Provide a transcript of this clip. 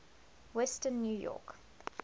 western new york